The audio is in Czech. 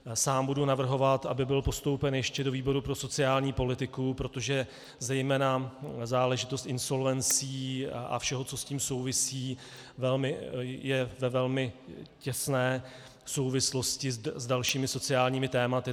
Sám budu navrhovat, aby byl postoupen ještě do výboru pro sociální politiku, protože zejména záležitost insolvencí a všeho, co s tím souvisí, je ve velmi těsné souvislosti s dalšími sociálními tématy.